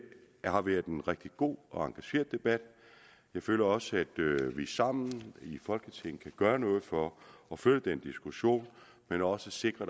har været en rigtig god og engageret debat jeg føler også at vi sammen i folketinget kan gøre noget for at føre den diskussion men også sikre